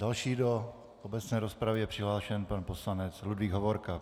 Další do obecné rozpravy je přihlášen pan poslanec Ludvík Hovorka.